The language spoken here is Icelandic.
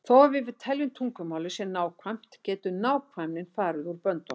Þó að við viljum að tungumálið sé nákvæmt getur nákvæmnin farið út böndunum.